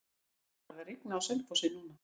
Það er farið að rigna á Selfossi núna.